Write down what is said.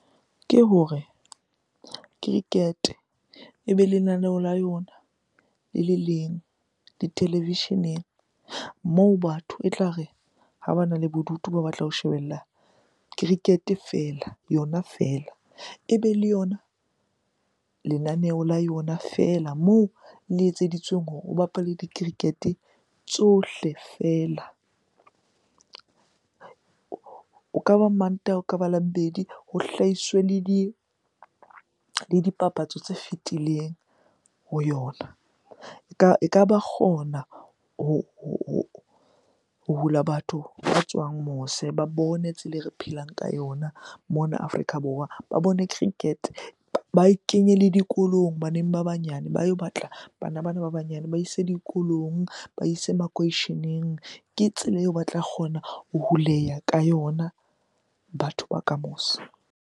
Ke hore cricket-e ebe lenaneo la yona le le leng ditelevisheneng moo batho e tla re ha bana le bodutu ba batla ho shebella cricket-e fela, yona fela. Ebe le yona lenaneo la yona fela moo le etseditsweng hore o bapalwe di-cricket-e tsohle fela. O ka ba Mantaha, ho ka ba Labobedi ho hlahiswe le dipapatso tse fetileng ho yona. Eka ba kgona ho hula batho ba tswang mose ba bone tsela e re phelang ka yona mona Afrika Borwa. Ba bone cricket-e, ba e kenye le dikolong baneng ba banyane, ba yo batla bana bana ba banyane. Ba ise dikolong, ba ise makoisheneng. Ke tsela eo ba tla kgona ho huleya ka yona batho ba ka mose.